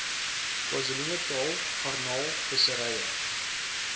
kzn garnaal visserye